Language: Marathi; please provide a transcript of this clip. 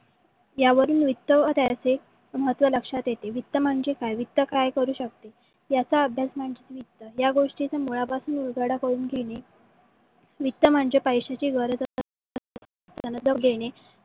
यावरून वित्त व त्याचे महत्व लक्षात येते. वित्त म्हणजे का वित्त काय. करू शकते. याचा अभ्यास म्हणजे वित्त. ज्या गोष्टीचा मूळापासून उळघडा करून घेणे . वित्त म्हणजे पैसीयची गरज